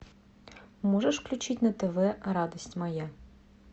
можешь включить на тв радость моя